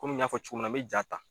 Komi n y'a fɔ cogo mina n bɛ jaa ta.